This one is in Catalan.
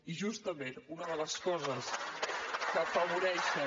i justament una de les coses que afavoreixen